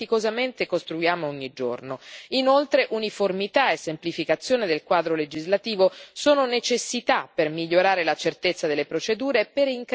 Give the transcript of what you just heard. Inoltre, uniformità e semplificazione del quadro legislativo sono necessità per migliorare la certezza delle procedure e per incrementare la mobilità dei paesi membri.